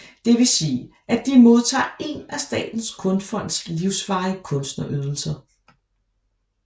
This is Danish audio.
Det vil sige at de modtager en af Statens Kunstfonds livsvarige kunstnerydelser